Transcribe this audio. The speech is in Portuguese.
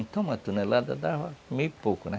Então, uma tonelada dava meio pouco, né?